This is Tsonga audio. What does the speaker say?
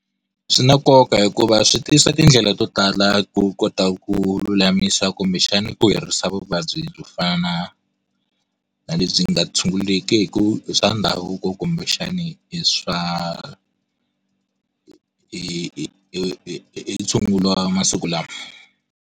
Swi na nkoka hikuva swi tisa tindlela to tala ku kota ku lulamisa kumbexani ku herisa vuvabyi byo fana na na lebyi nga tshungulekeku hi swa ndhavuko kumbexani hi tshungulo wamasiku lawa.